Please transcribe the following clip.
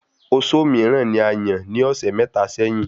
Ozo míràn ní ayàn ní ọsẹ mẹta sẹ́yín